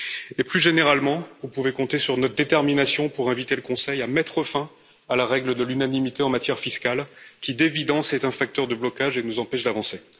Et plus généralement, vous pouvez compter sur notre détermination pour inviter le Conseil à mettre fin à la règle de l'unanimité en matière fiscale, qui d'évidence est un facteur de blocage et nous empêche d'avancer.